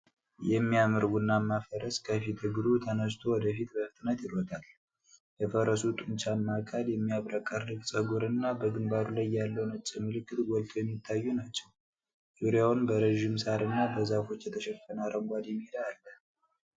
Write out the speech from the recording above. የሚያምር ቡናማ ፈረስ ከፊት እግሩ ተነስቶ ወደፊት በፍጥነት ይሮጣል። የፈረሱ ጡንቻማ አካል፣ የሚያብረቀርቅ ጸጉር እና በግምባሩ ላይ ያለው ነጭ ምልክት ጎልተው የሚታዩ ናቸው። ዙሪያውን በረዥም ሳር እና በዛፎች የተሸፈነ አረንጓዴ ሜዳ አለ።